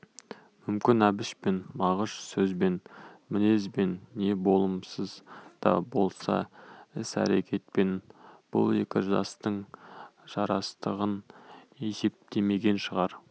мүмкін әбіш пен мағыш сөзбен мінезбен не болымсыз да болса іс-әрекетпен бұл екі жастың жарастығын есептемеген шығар